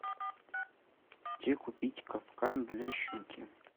где купить капкан для щуки